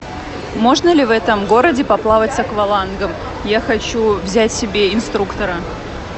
можно ли в этом городе поплавать с аквалангом я хочу взять себе инструктора